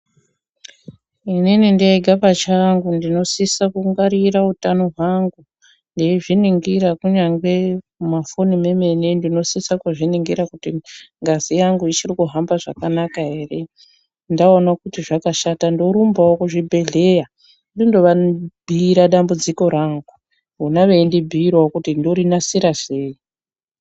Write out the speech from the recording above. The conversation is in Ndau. Inini ndega pachangu ndinosisa kungwarira utano hwangu ndeizviningira kunyangwe mufoni memene ndinosisa kuzviningira kuti ngazi yangu ichiri kuhamba zvakanaka ere ndaona kuti zvakashata ndorumbawo kuzvibhedhleya ndindovabhiira dambudziko rangu vona veindibhiirawo kuti ndorinasira sei.